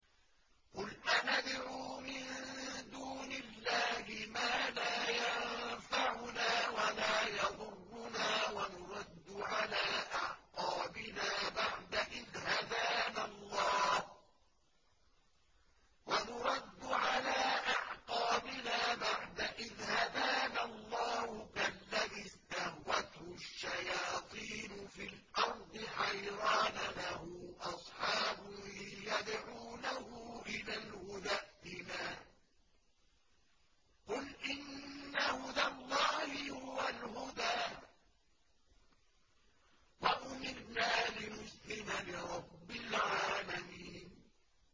قُلْ أَنَدْعُو مِن دُونِ اللَّهِ مَا لَا يَنفَعُنَا وَلَا يَضُرُّنَا وَنُرَدُّ عَلَىٰ أَعْقَابِنَا بَعْدَ إِذْ هَدَانَا اللَّهُ كَالَّذِي اسْتَهْوَتْهُ الشَّيَاطِينُ فِي الْأَرْضِ حَيْرَانَ لَهُ أَصْحَابٌ يَدْعُونَهُ إِلَى الْهُدَى ائْتِنَا ۗ قُلْ إِنَّ هُدَى اللَّهِ هُوَ الْهُدَىٰ ۖ وَأُمِرْنَا لِنُسْلِمَ لِرَبِّ الْعَالَمِينَ